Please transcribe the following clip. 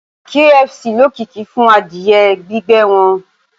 KFC lókìkí fún adìẹ gbígbẹ́ wọn